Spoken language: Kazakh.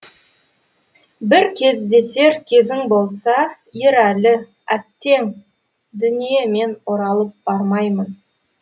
бір кездесер кезің болса ерәлі әттең дүние мен оралып бармаймын